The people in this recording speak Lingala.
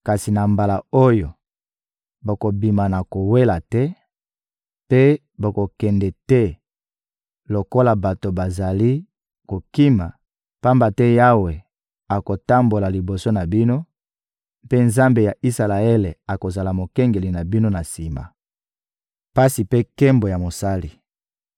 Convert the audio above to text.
Kasi na mbala oyo, bokobima na kowela te mpe bokokende te lokola bato bazali kokima, pamba te Yawe akotambola liboso na bino mpe Nzambe ya Isalaele akozala Mokengeli na bino na sima. Pasi mpe nkembo ya Mosali